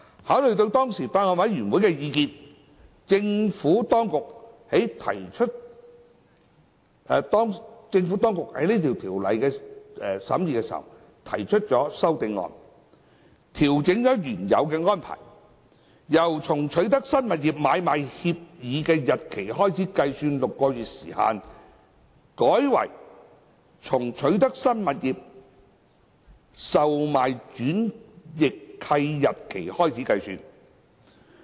考慮到當時法案委員會的意見，政府當局在審議該法案時提出修正案，調整原有安排，由從取得新物業的買賣協議日期開始計算6個月時限，改為從取得新物業的售賣轉易契日期開始計算。